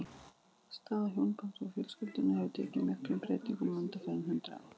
Staða hjónabandsins og fjölskyldunnar hefur tekið miklum breytingum undanfarin hundrað ár.